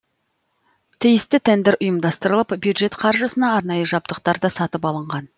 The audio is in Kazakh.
тиісті тендер ұйымдастырылып бюджет қаржысына арнайы жабдықтар да сатып алынған